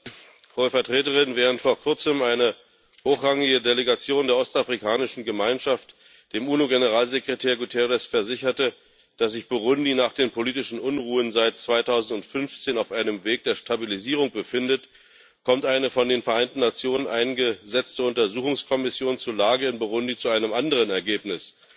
Herr Präsident, Hohe Vertreterin! Während vor Kurzem eine hochrangige Delegation der Ostafrikanischen Gemeinschaft dem UNO Generalsekretär Guterres versicherte, dass sich Burundi nach den politischen Unruhen seit 2015 auf einem Weg der Stabilisierung befindet, kommt eine von den Vereinten Nationen eingesetzte Untersuchungskommission zur Lage in Burundi zu einem anderen Ergebnis